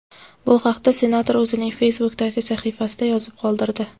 Bu haqda senator o‘zining Facebook’dagi sahifasida yozib qoldirdi .